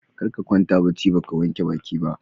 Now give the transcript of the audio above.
Karka kwanta bacci baka wanke baki ba.